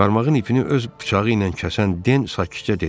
Qarmağın ipini öz bıçağı ilə kəsən Den sakitcə dedi: